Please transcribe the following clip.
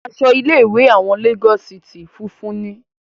Aṣọ ilé ìwé àwọn Lagos city funfun ni.